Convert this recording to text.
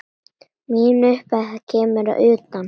Mín upphefð kemur að utan.